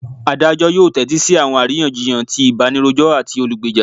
Adajọ yoo tẹtisi awọn ariyanjiyan ti ibanirojọ ati olugbeja.